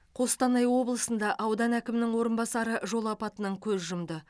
қостанай облысында аудан әкімінің орынбасары жол апатынан көз жұмды